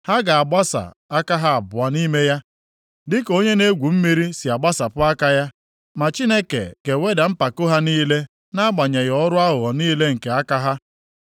Ha ga-agbasa aka ha abụọ nʼime ya, dịka onye na-egwu mmiri si agbasapụ aka ya, ma Chineke ga-eweda mpako ha niile, nʼagbanyeghị ọrụ aghụghọ niile nke aka ha.